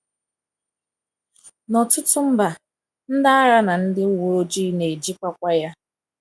N’ọtụtụ mba, ndị agha na ndị uwe ojii na-ejikwakwa ya.